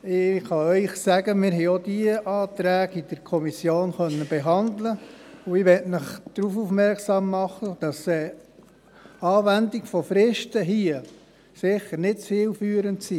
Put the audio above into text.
der SiK. Wir konnten auch diese Anträge in der Kommission behandeln, und ich mache Sie darauf aufmerksam, dass die Anwendung von Fristen hier sicher nicht zielführend ist.